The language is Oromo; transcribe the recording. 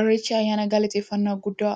Irreechi ayyaana galateeffnnaa guddaa